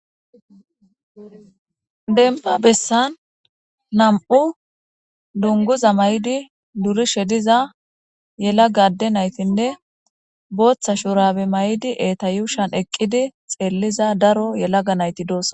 demba bessan nam7u dunguza may7idi durishe diza yela gade naytinne booththa shurabe may7idi eta yushan eqqidi xeelliza daro yelaga nayti doos